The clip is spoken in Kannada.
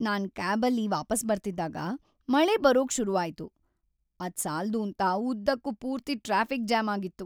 ನಾನ್ ಕ್ಯಾಬಲ್ಲಿ ವಾಪಸ್ ಬರ್ತಿದ್ದಾಗ, ಮಳೆ ಬರೋಕ್‌ ಶುರು ಆಯ್ತು,‌ ಅದ್ ಸಾಲ್ದೂಂತ ಉದ್ದಕ್ಕೂ ಪೂರ್ತಿ ಟ್ರಾಫಿಕ್ ಜಾಮ್ ಆಗಿತ್ತು.